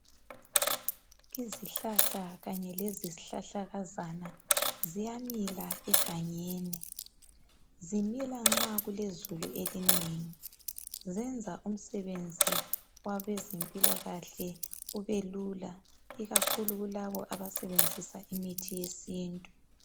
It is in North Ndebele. Izihlahla kanye lezihlahlakazana ziyamila egangeni. Zimila nxa kulezulu elinengi. Ziyenza umsebenzi wabezempilakahle ubelula ikakhulu labo abasebenzisa imithi yesintu.